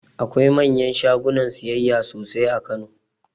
Akwai manyan shagunan siyayya sosai a kano